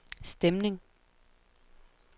stemning